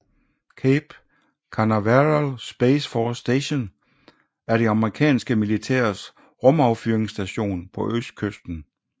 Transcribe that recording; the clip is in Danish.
Cape Canaveral Space Force Station er det amerikanske militærs rumaffyringsstation på østkysten